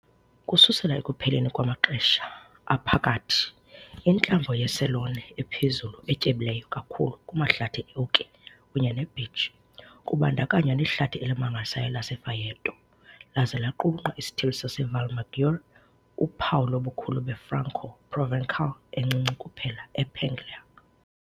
Ukususela ekupheleni kwamaXesha Aphakathi, intlambo yeCelone ephezulu, etyebileyo kakhulu kumahlathi e-oki kunye ne-beech kubandakanywa nehlathi elimangalisayo laseFraeto, laza laqulunqa isithili saseValmaggiore, uphawu lobukho be-Franco-Provençal encinci kuphela ePuglia.